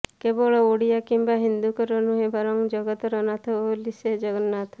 କେବଳ ଓଡିଆ କିମ୍ବା ହିନ୍ଦୁଙ୍କର ନୁହେଁ ବରଂ ଜଗତର ନାଥ ବୋଲି ସେ ଜଗନ୍ନାଥ